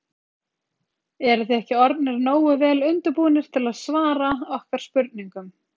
Eruð þið ekki orðnir nógu vel undirbúnir til að svara okkar spurningum?